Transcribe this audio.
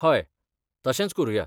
हय, तशेंच करुया.